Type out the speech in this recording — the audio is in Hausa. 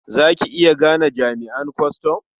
Za ki iya gane jami'an kwastam?